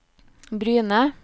Bryne